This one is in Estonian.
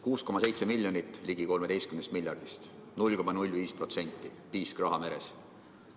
6,7 miljonit ligi 13 miljardist – 0,05%, piisk rahameres.